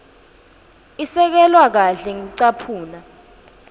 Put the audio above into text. isekelwe kahle ngekucaphuna